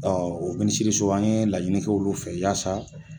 Ɔ o minisiriso an ye laɲini kɛ olu fɛ yaasa